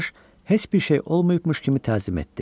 Paj heç bir şey olmayıbmış kimi təzim etdi.